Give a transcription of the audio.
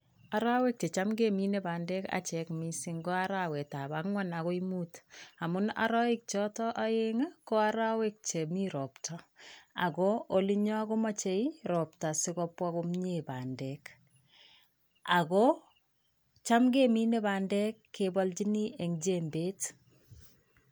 Arawek checham kemine bandek achek mising ko arawetab angwan akoi muut, amun arawek chotok aeng ii ko arawek chemi ropta, ako olinyo komochei ropta si kobwa komie bandek, ako cham kemine bandek kebalchini eng jembet.